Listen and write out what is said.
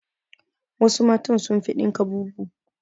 Wassu mata sun fi dinka bubu